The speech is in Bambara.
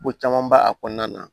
Ko caman b'a kɔnɔna na